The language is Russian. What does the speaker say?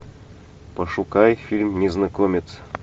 пошукай фильм незнакомец